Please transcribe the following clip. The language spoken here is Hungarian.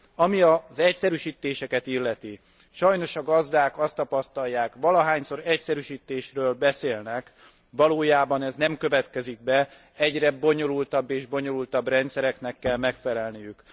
Ami az egyszerűsítéseket illeti, sajnos a gazdák azt tapasztalják, valahányszor egyszerűsítésről beszélnek, valójában ez nem következik be, egyre bonyolultabb és bonyolultabb rendszereknek kell megfelelniük.